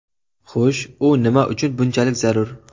Xush, u nima uchun bunchalik zarur?